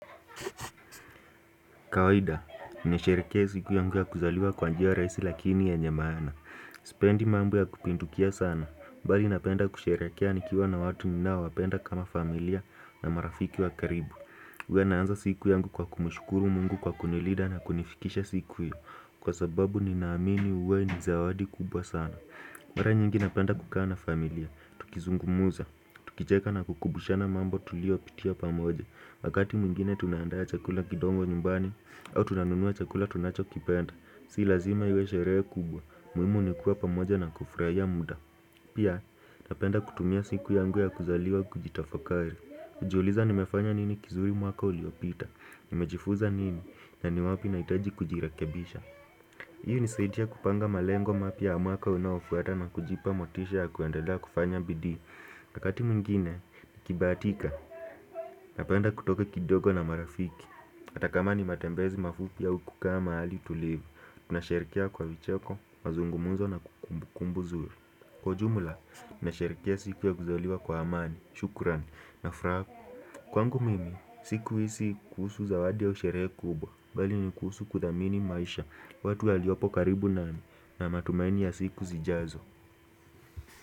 Kawaida, ninasherehekea siku yangu ya kuzaliwa kwa njia wa rahisi lakini ye nye maana. Sipendi mambo ya kupindukia sana. Bali napenda kusherehekea nikiwa na watu ninao wapenda kama familia na marafiki wa karibu. Huwa naanza siku yangu kwa kumshukuru mungu kwa kunilinda na kunifikisha siku hiyo. Kwa sababu ninaamini huwa nizawadi kubwa sana. Mara nyingi napenda kukaa na familia. Tukizungumuza. Tukicheka na kukumbushana mambo tuliyo pitia pamoja. Wakati mwingine tunaandaa chakula kidogo nyumbani au tunanunua chakula tunacho kipenda Si lazima iwe sherehe kubwa muhimu nikuwa pamoja na kufurahia muda Pia napenda kutumia siku yangu ya kuzaliwa kujitafakari kujiuliza nimefanya nini kizuri mwaka uliopita Nimejifuza nini na ni wapi nahitaji kujirekabisha Hii hunisadia kupanga malengo mapya ya mwaka unaofuata na kujipa motisha ya kuendelea kufanya bidii Wakati mwingine niKibahatika Napenda kutoka kidogo na marafiki. Hatakama ni matembezi mafupi au kukaa mahali tulivu. Tunasherehekea kwa vicheko, mazungumzo na kumbu kumbu nzuri. Kwa ujumla, nasherehekea siku ya kuzaliwa kwa amani, shukurani, na furaha. Kwangu mimi, siku hii si kusuhu zawadi au sherehe kubwa, bali ni kuhusu kuthamini maisha, watu waliopo karibu na, matumaini ya siku zijazo.